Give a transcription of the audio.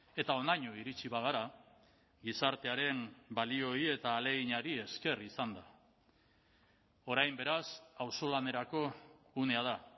eta honaino iritsi bagara gizartearen balioei eta ahaleginari esker izan da orain beraz auzolanerako unea da